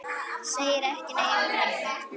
Segir ekki nei við mömmu!